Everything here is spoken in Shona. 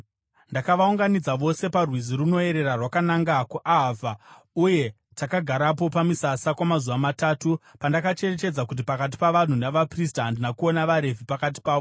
Ndakavaunganidza vose parwizi runoerera rwakananga kuAhavha, uye takagarapo pamisasa kwamazuva matatu. Pandakacherechedza pakati pavanhu navaprista, handina kuona vaRevhi pakati pavo.